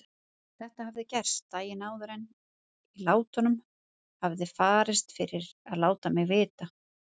Þetta hafði gerst daginn áður en í látunum hafði farist fyrir að láta mig vita.